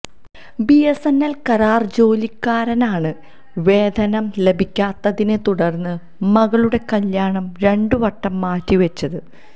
BSNL കാരാര് ജോലിക്കാരാരനാണ് വേധനം ലഭിക്കാത്തതിനെ തുടര്ന്ന് മകളുടെ കല്ല്യാണം രണ്ട് വട്ടം മാറ്റി വെച്ചത്